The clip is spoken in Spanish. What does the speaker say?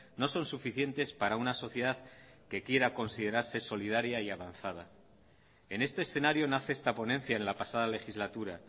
no son suficientes para una sociedad que quiera considerarse solidaria y avanzada en este escenario nace esta ponencia en la pasada legislatura